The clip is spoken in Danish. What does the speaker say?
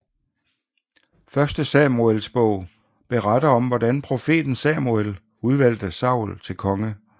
Første Samuelsbog beretter om hvordan profeten Samuel udvalgte Saul til konge